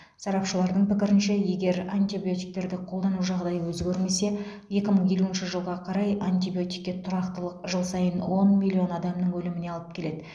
сарапшылардың пікірінше егер антибиотиктерді қолдану жағдайы өзгермесе екі мың елуінші жылға қарай антибиотикке тұрақтылық жыл сайын он миллион адамның өліміне алып келеді